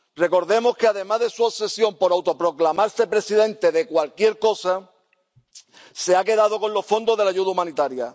Recordemos que, además de su obsesión por autoproclamarse presidente de cualquier cosa, se ha quedado con los fondos de la ayuda humanitaria.